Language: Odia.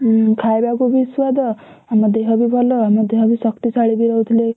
ହୁଁ ଖାଇବାକୁ ବି ସୁଆଦ breath ଆମ ଦେହକୁ ବି ଭଲ ଆମ ଦେହବି ଶକ୍ତିଶାଳୀ ବି ରହୁଥିଲେ।